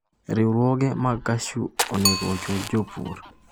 Riwruoge mag cashew onego ochul jopur